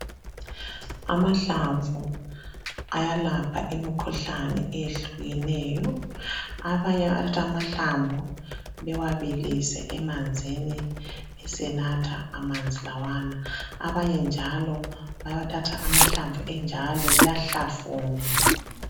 Amahlamvu ayelapha imikhuhlane eyehlukeneyo abanye bayathatha amahlamvu besebawabilisa emanzini bewanathe amanzi lawana abanye njalo bayathatha amahlamvu bewahlafune